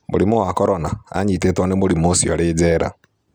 Mũrimũ wa Korona: Anyitĩtwo nĩ mũrimũ ũcio arĩ njera